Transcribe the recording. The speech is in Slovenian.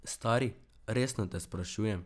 Stari, resno te sprašujem.